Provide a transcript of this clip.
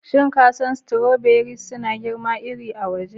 Shin ka san cewa stoberis suna girma iri a waje?